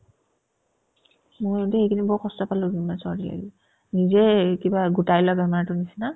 মোৰো দেই এইকেইদিন বৰ কষ্ট পালো দুদিনমান চৰ্দি লাগিল নিজে কিবা গোটাই লোৱা বেমাৰতোৰ নিচিনা